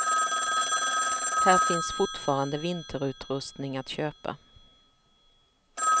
Här finns fortfarande vinterutrustning att köpa.